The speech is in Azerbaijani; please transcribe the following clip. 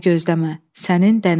Məni gözləmə, sənin dənizçi oğlun.